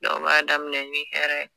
Dɔw b'a daminɛ ni hɛrɛ ye.